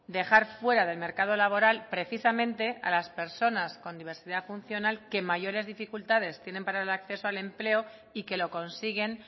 dejar fuera del mercado laboral precisamente a las personas con diversidad funcional que mayores dificultades tienen para el acceso de empleo y que lo consiguen